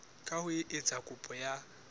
ka ho etsa kopo ya